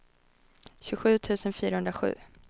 tjugosju tusen fyrahundrasju